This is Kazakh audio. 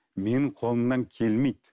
менің қолымнан келмейді